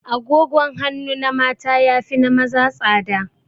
Agogon hanu na mata ya fi na maza tsada